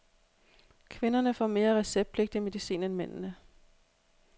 Kvinderne får mere receptpligtig medicin end mændene.